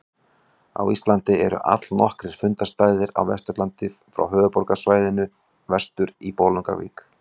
Á Íslandi eru allnokkrir fundarstaðir á Vesturlandi frá höfuðborgarsvæðinu vestur í Bolungarvík.